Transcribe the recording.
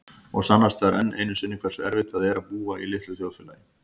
Og sannast þar enn einu sinni hversu erfitt það er að búa í litlu þjóðfélagi.